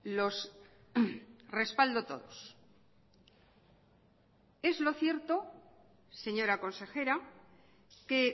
los respaldo todos es lo cierto señora consejera que